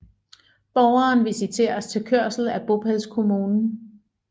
Borgeren visiteres til kørslen af bopælskommunen